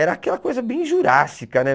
Era aquela coisa bem jurássica, né?